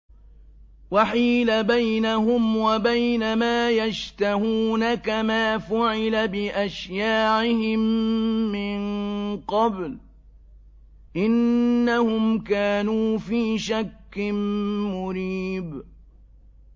وَحِيلَ بَيْنَهُمْ وَبَيْنَ مَا يَشْتَهُونَ كَمَا فُعِلَ بِأَشْيَاعِهِم مِّن قَبْلُ ۚ إِنَّهُمْ كَانُوا فِي شَكٍّ مُّرِيبٍ